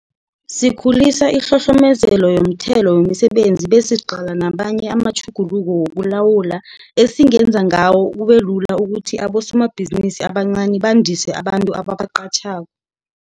Sikhulisa ihlohlomezelo yomthelo wemsebenzini besiqala namanye amatjhuguluko wokulawula, esingenza ngawo kubelula ukuthi abosomabhizinisi abancani bandise abantu ababaqatjhako.